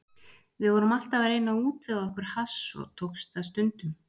Við vorum alltaf að reyna að útvega okkur hass og tókst það stundum.